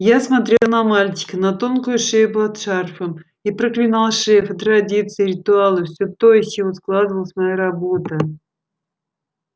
я смотрел на мальчика на тонкую шею под шарфом и проклинал шефа традиции ритуалы всё то из чего складывалась моя работа